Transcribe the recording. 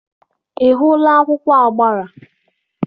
Ị hụla akwụkwọ agbara?